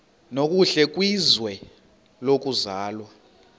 nokuhle kwizwe lokuzalwa